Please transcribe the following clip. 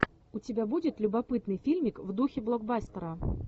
у тебя будет любопытный фильмик в духе блокбастера